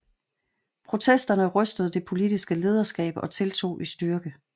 Protesterne rystede det politiske lederskab og tiltog i styrke